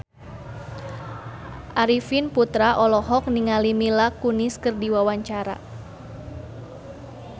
Arifin Putra olohok ningali Mila Kunis keur diwawancara